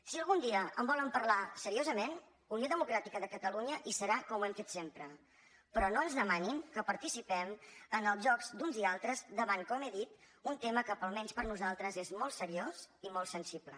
si algun dia en volen parlar seriosament unió democràtica de catalunya hi serà com ho hem fet sempre però no ens demanin que participem en els jocs d’uns i altres davant com he dit un tema que almenys per nosaltres és molt seriós i molt sensible